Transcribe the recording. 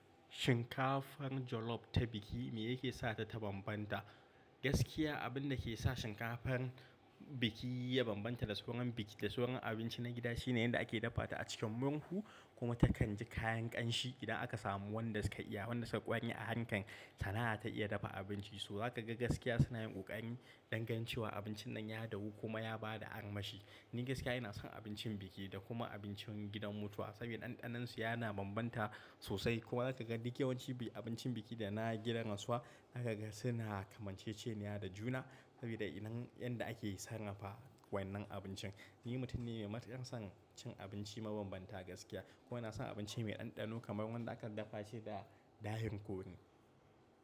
Shinkafan jolof ta biki me yake sa ta ta banbanta? Gaskiya abin da ke sa shinkafan biki ya banbanta da sauran biki, da sauran abinci na gida shine yanda ake dafa ta a cikin murhu kuma ta kan ji kayan ƙanshi. Idan aka samu wanda suka iya, wanda suka ƙware a harkan sana'a ta iya dafa abinci, so za ka ga gaskiya suna yin ƙoƙari dan ganin cewa abincin nan ya dahu kuma ya bada armashi. Ni gaskiya ina son abincin biki da kuma abincin gidan mutuwa saboda ɗanɗanonsu yana banbanta sosai. Kuma za ka ga duk yawanci abincin biki da na gidan rasuwa za ka ga suna kamanceceniya da juna saboda irin yanda ake sarrafa wannan abincin. Ni mutum ne mai matuƙar son cin abinci mabambanta gaskiya. Kuma ina son abinci mai ɗanɗano kamar wanda aka dafa shi da ɗahin kore.